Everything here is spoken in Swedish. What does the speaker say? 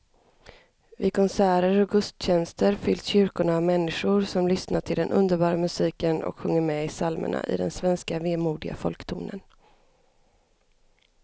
Vid konserter och gudstjänster fylls kyrkorna av människor som lyssnar till den underbara musiken och sjunger med i psalmerna i den svenska vemodiga folktonen.